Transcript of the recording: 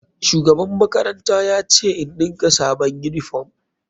Shugaban makaranta ya ce in ɗinka sabon uniform.